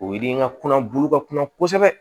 O yiri in ka kunna bulu ka kunna kosɛbɛ